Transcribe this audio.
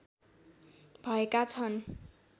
भएका छन्